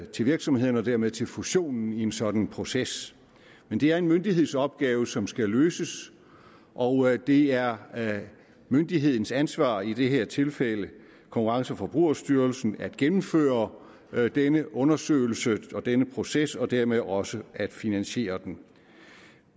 til virksomhederne og dermed til fusionen i en sådan proces men det er en myndighedsopgave som skal løses og det er myndighedens ansvar i det her tilfælde konkurrence og forbrugerstyrelsen at gennemføre denne undersøgelse og denne proces og dermed også at finansiere den